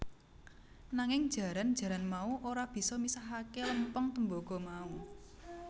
Nanging jaran jaran mau ora bisa misahake lempeng tembaga mau